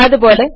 അതുപോലെ